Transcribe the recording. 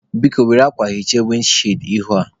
Biko, Were akwa hichaa windi chịịd ihu a